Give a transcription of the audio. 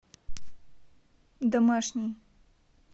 домашний